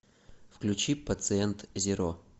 включи пациент зеро